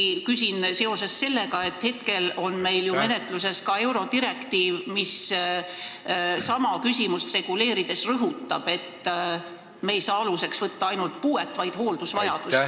Ma küsin eriti seetõttu, et meil on menetluses eurodirektiiv, mis sama küsimust reguleerides rõhutab, et me ei saa aluseks võtta ainult puuet, vaid aluseks tuleb võtta hooldusvajadus.